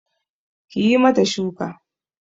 Kiyi mata shuku